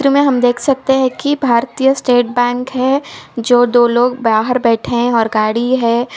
इस चित्र मे हम देख सकते हैं कि भारतीय स्टेट बैंक है जो दो लोग बाहर बैठे हैं और गाड़ी है।